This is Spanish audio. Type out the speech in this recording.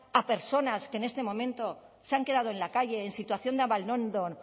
a personas que en este momento se han quedado en la calle en situación de abandono en